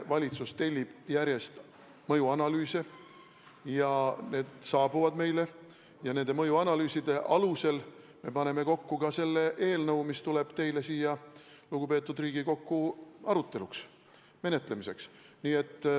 Valitsus tellib järjest mõjuanalüüse ja need saabuvad meile, ja nende mõjuanalüüside alusel me paneme kokku ka selle eelnõu, mis saadetakse teile, lugupeetud Riigikogu, arutamiseks, menetlemiseks.